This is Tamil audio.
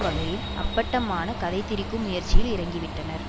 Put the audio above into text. வகையில் அப்பட்டமான கதைதிரிக்கும் முயற்சியில் இறங்கிவிட்டனர்